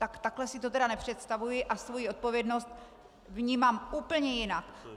Tak takhle si to tedy nepředstavuji a svoji odpovědnost vnímám úplně jinak!